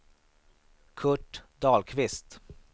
Kurt Dahlqvist